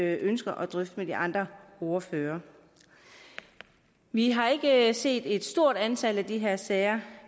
jeg ønsker at drøfte med de andre ordførere vi har ikke set et stort antal af de her sager